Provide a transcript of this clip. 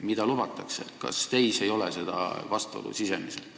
Kas teis suure demokraadina ei ole seda sisemist vastuolu?